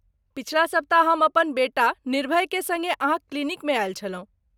पछिला सप्ताह हम अपन बेटा निर्भयके संगे अहाँक क्लिनिकमे आयल छलहुँ।